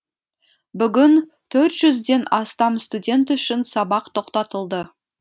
бүгін төрт жүзден астам студент үшін сабақ тоқтатылды